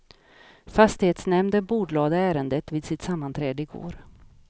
Fastighetsnämnden bordlade ärendet vid sitt sammanträde igår.